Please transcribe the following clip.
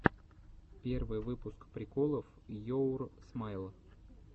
первый выпуск приколов йоур смайл